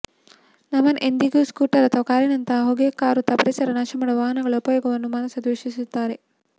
ನಮನ್ ಎಂದಿಗೂ ಸ್ಕೂಟರ್ ಅಥವಾ ಕಾರಿನಂತಹ ಹೊಗೆಕಾರುತ್ತಾ ಪರಿಸರ ನಾಶಮಾಡುವ ವಾಹನಗಳ ಉಪಯೋಗವನ್ನು ಮನಸಾ ಧ್ವೇಷಿಸುತ್ತಾರೆ